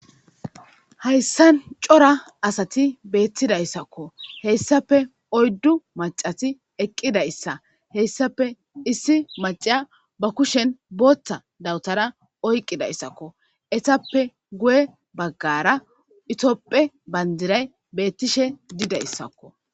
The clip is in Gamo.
Hayssan cora asati beetidaysako hessappe oydu maccati eqidaysa hessappe issi macca ba kushen bootha dawutara oyqidaysako eetappe guye bagara Tophphiya bandiray beetishe dizaysako.